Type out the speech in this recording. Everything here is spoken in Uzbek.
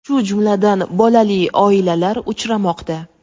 shu jumladan bolali oilalar uchramoqda.